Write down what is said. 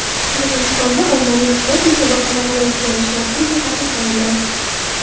Qirg‘izistonda ommaviy sport musobaqalarini o‘tkazish vaqtincha taqiqlandi .